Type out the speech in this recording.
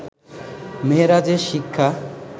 মেরাজের শিক্ষা